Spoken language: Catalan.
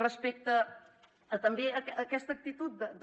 respecte també a aquesta actitud de